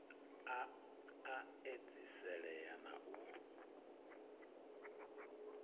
a a edziselea na u